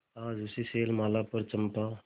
आज उसी शैलमाला पर चंपा